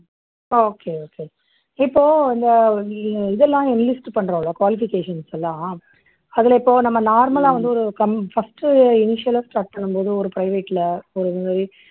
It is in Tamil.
okay, okay. இப்போ இந்த இதெல்லாம் list பண்றோமில்ல, qualification லாம் அதுல இப்போ நம்ப normal லா வந்து ஒரு start பண்ணும் போது first ஒரு private ல